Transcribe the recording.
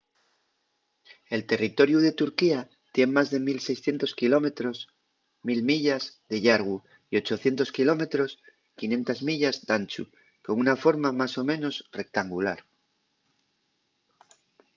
el territoriu de turquía tien más de 1,600 quilómetros 1.000 mi de llargu y 800 km 500 mi d’anchu con una forma más o menos rectangular